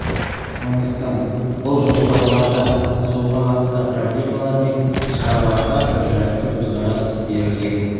сондықтан бұл жоспарларда суға қатысты проблемалар мен шараларға біржақты көзқарас берілген